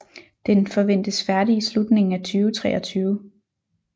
Den forventes færdig i slutningen af 2023